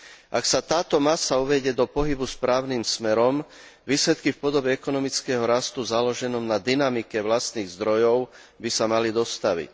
Ak sa táto masa uvedie do pohybu správnym smerom, výsledky v podobe ekonomického rastu založenom na dynamike vlastných zdrojov by sa mali dostaviť.